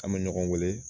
An bɛ ɲɔgɔn weele